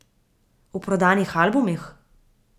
V prodanih albumih?